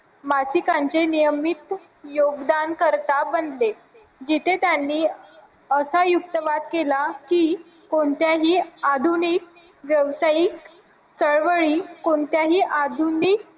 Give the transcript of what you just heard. मासिकांचे नियमित योगदान करता बनले जिथे त्यांनी असा युक्त वाद केला की कोणत्याही आधुनिक व्यावसायिक चळवळी कोणत्याही आधुनिक